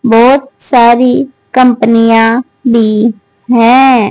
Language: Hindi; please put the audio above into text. बहोत सारी कंपनियां भी हैं।